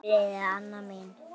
Hvíldu í friði, Anna mín.